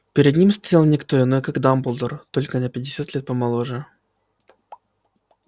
перед ним стоял не кто иной как дамблдор только на пятьдесят лет помоложе